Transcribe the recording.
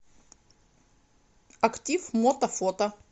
актив мото фото